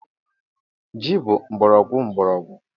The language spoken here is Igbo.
Yam bụ mgbọrọgwụ mgbọrọgwụ.